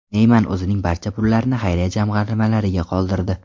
Neyman o‘zining barcha pullarini xayriya jamg‘armalariga qoldirdi.